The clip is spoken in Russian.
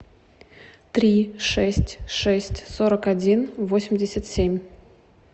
три шесть шесть сорок один восемьдесят семь